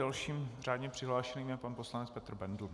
Dalším řádně přihlášeným je pan poslanec Petr Bendl.